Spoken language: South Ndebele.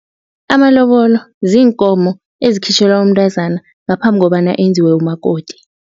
Amalobolo ziinkomo ezikhitjhelwa umntazana ngaphambi kobana enziwe umakoti.